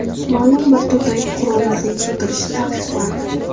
Ma’lum bir turdagi qurollarning sotilishi taqiqlandi.